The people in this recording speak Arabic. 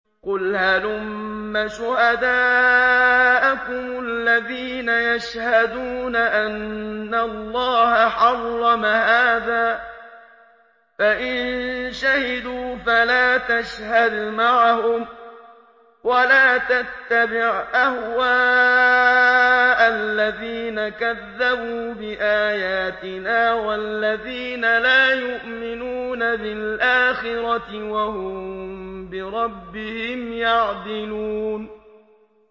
قُلْ هَلُمَّ شُهَدَاءَكُمُ الَّذِينَ يَشْهَدُونَ أَنَّ اللَّهَ حَرَّمَ هَٰذَا ۖ فَإِن شَهِدُوا فَلَا تَشْهَدْ مَعَهُمْ ۚ وَلَا تَتَّبِعْ أَهْوَاءَ الَّذِينَ كَذَّبُوا بِآيَاتِنَا وَالَّذِينَ لَا يُؤْمِنُونَ بِالْآخِرَةِ وَهُم بِرَبِّهِمْ يَعْدِلُونَ